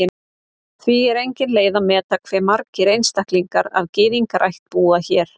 Því er engin leið að meta hve margir einstaklingar af Gyðingaættum búa hér.